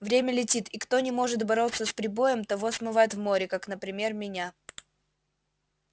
время летит и кто не может бороться с прибоем того смывает в море как например меня